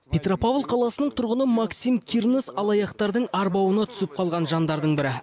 петропавл қаласының тұрғыны максим кирнос алаяқтардың арбауына түсіп қалған жандардың бірі